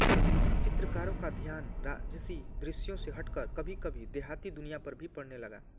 चित्रकारों का ध्यान राजसी दृश्यों से हटकर कभीकभी देहाती दुनिया पर भी पड़ने लगा